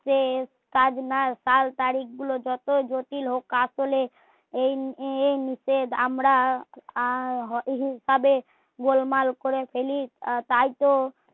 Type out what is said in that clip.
সে কাজ নয় সাল তারিক গুলো যত জটিল হোক আসলে এই মুহূর্তে আমরা উহ ভাবে গোলমাল করে ফেলি তাই তো